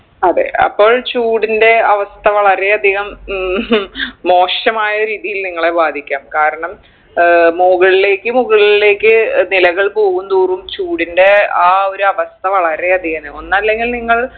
അതെ അപ്പോൾ ചൂടിൻറെ അവസ്ഥ വളരെയധികം ഉം ഹും മോശമായ രീതിയിൽ നിങ്ങളെ ബാധിക്കാം കാരണം ഏർ മുകൾലേക്ക് മുകൾലേക്ക് നിലകൾ ഏർ പോകുംതോറും ചൂടിൻറെ ആ ഒരു അവസ്ഥ വളരെ അധികാണ് ഒന്നല്ലെങ്കിൽ നിങ്ങൾ